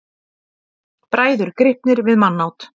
Bræður gripnir við mannát